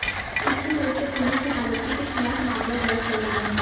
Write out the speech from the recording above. इसके चलते पुलिस ने आरोपी के खिलाफ मामला दर्ज कर लिया